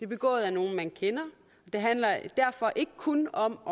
begået af nogle man kender det handler derfor ikke kun om